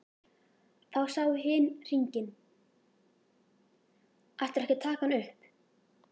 Þá sá hin hringinn: Ætlarðu ekki að taka hann upp?